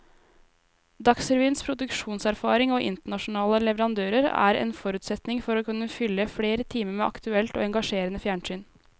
Dagsrevyens produksjonserfaring og internasjonale leverandører er en forutsetning for å kunne fylle flere timer med aktuelt og engasjerende fjernsyn.